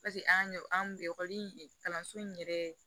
Paseke an ɲ an kun ekɔli in kalanso in yɛrɛ